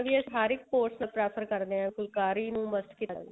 ਹਰ ਇੱਕ course prefer ਕਰਦੇ ਹਾਂ ਫੁਲਕਾਰੀ ਨੂੰ